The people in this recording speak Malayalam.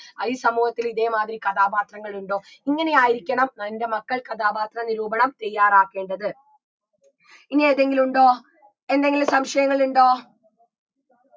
ഈ സമൂഹത്തിൽ ഇതേ മാതിരി കഥാപാത്രങ്ങളുണ്ടോ ഇങ്ങനെയായിരിക്കണം എൻറെ മക്കൾ കഥാപാത്ര നിരൂപണം തയ്യാറാക്കേണ്ടത് ഇനിയേതെങ്കിലുമുണ്ടോ എന്തെങ്കിലും സംശയങ്ങൾ ഉണ്ടോ